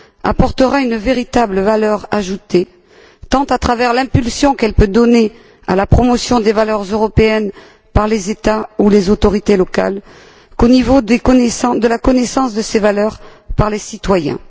apportera une véritable valeur ajoutée tant à travers l'impulsion qu'elle peut donner à la promotion des valeurs européennes par les États ou les autorités locales qu'au niveau de la connaissance de ces valeurs par les citoyens.